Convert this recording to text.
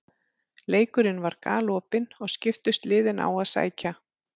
Leikurinn var galopinn og skiptust liðin á að sækja.